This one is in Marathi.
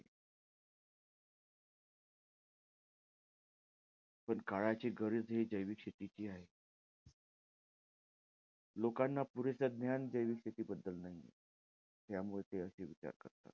पण काळाची गरज हे जैविक शेती हि आहे. लोकांना पुरेसं ज्ञान, जैविक शेतीबद्दल नाहीये. त्यामुळे ते असे विचार करतात.